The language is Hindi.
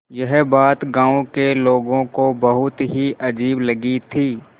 यह बात गाँव के लोगों को बहुत ही अजीब लगी थी